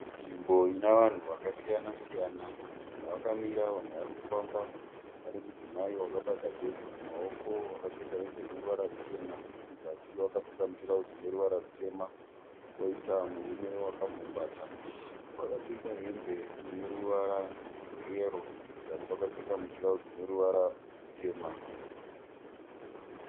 Nzvimbo ine vanhu vakasiyana siyana. Vamwe vakamira vamwe varikufamba. Pane mudzimai wakabata bhegi mumaoko wakapfeka hembe ine ruvara ruchena. Kuzasi wakapfeka mutirauzi une ruvara rutema. Kwoita murume wakagumbata wakapfeka hembe ine ruvara rweyero kuzasi wakapfeka mutirauzi une ruvara rutema.